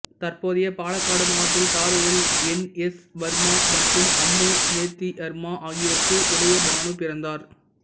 தற்போதைய பாலக்காடு மாவட்டத்தில் தாரூரில் என் எஸ் வர்மா மற்றும் அம்மு நேத்தியரம்மா ஆகியோருக்கு உதயபானு பிறந்தார்